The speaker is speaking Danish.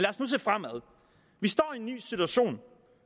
os nu se fremad vi står i en ny situation